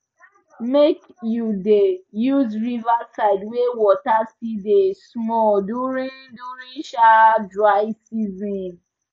make you da use riverside wey water still da small during during um dry season